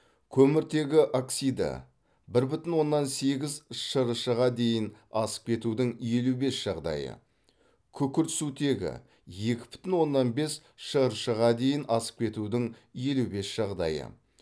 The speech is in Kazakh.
көміртегі оксиді бір бүтін оннан сегіз шрш ға дейін асып кетудің елу бес жағдайы күкіртсутегі екі бүтін оннан бес шрш ға дейін асып кетудің елу бес жағдайы